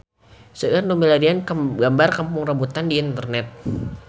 Seueur nu milarian gambar Kampung Rambutan di internet